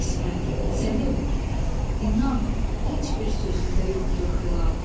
İsmət, Səlim, inan, heç bir sözümdə yoxdur xilaf.